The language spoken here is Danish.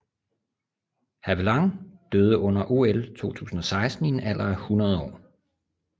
Havelange døde under OL 2016 i en alder af 100 år